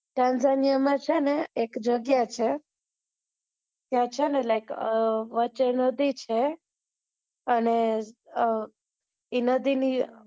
ચંદ્એલાનીયા માં એક જગ્યા છે ત્યાં છે ને like વચે નદી છે અને અ એ નદી ની